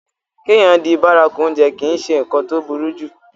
kí èèyàn di bárakú oúnjẹ kìí se ǹkan tí ó burú jù